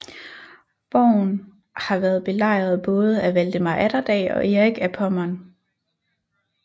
Borgen har været belejret både af Valdemar Atterdag og Erik af Pommern